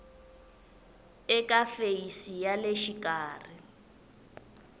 eka feyisi ya le xikarhi